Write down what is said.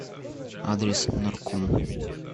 адрес норком